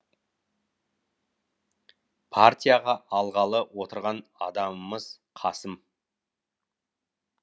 партияға алғалы отырған адамымыз қасым